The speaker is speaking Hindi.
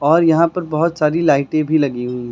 और यहां पर बहुत सारी लाइटें भी लगी हुई हैं।